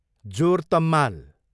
जोर तम्माल